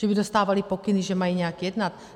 Že by dostávali pokyny, že mají nějak jednat?